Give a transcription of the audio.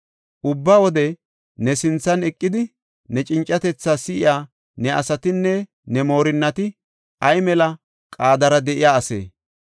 Ubba wode ne sinthan eqidi, ne cincatetha si7iya ne asatinne ne moorinnati ay mela qaadara de7iya ase!